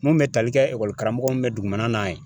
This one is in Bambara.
Mun bɛ tali kɛ ekɔli karamɔgɔ mun bɛ dugumana na yen